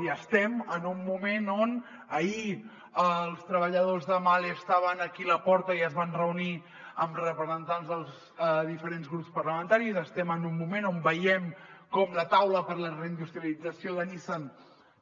i estem en un moment on ahir els treballadors de mahle estaven aquí a la porta i es van reunir amb representants dels diferents grups parlamentaris estem en un moment on veiem com la taula per a la reindustrialització de nissan